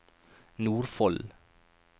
Nordfold